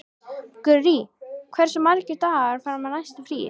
Gurrí, hversu margir dagar fram að næsta fríi?